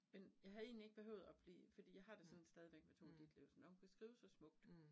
Men jeg havde egentlig ikke behøvet at blive, fordi jeg har det sådan stadigvæk med Tove Ditlevsen, at når hun kunne skrive så smukt